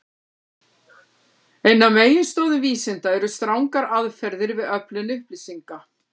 Ein af meginstoðum vísinda eru strangar aðferðir við öflun upplýsinga.